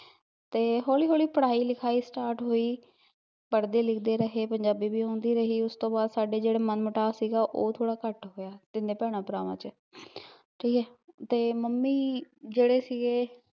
ਤੇ ਹੌਲੀ ਹੌਲੀ ਪੜਾਈ ਲਿਖਾਈ start ਹੋਈ ਪੜਦੇ ਲਿਖਦੇ ਰਹੇ, ਪੰਜਾਬੀ ਵੀ ਆਉਂਦੀ ਰਹੀ, ਉਸ ਤੋਂ ਬਾਦ ਸਾਡੇ ਜਿਹੜਾ ਮਨ ਮੋਟਾਵ ਸੀਗਾ, ਉਹ ਥੋੜਾ ਘੱਟ ਹੋਇਆ, ਤਿੰਨੇ ਭੈਣ ਭਰਾਵਾਂ ਚ, ਠੀਕ ਐ, ਤੇ ਮੰਮੀ, ਜਿਹੜੇ ਸੀਗੇ